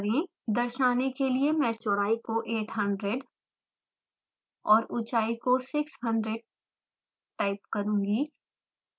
दर्शाने के लिए मैं चौड़ाई को 800 और ऊंचाई को 600 टाइप करुँगी